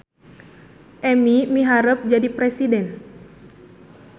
Emi miharep jadi presiden